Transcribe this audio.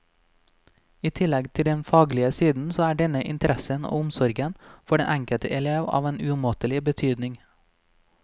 I tillegg til den faglige siden så er denne interessen og omsorgen for den enkelte elev av en umåtelig betydning.